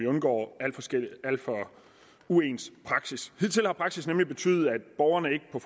undgår alt for uens praksis hidtil har praksis nemlig betydet at borgerne ikke på